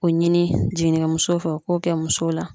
O ɲini jiginnikɛmuso fɛ o k'o kɛ muso la